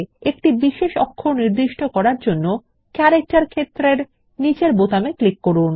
একটি বিশেষ অক্ষর নির্দিষ্ট করার জন্য ক্যারেক্টার ক্ষেত্রের নিচের বোতামে ক্লিক করুন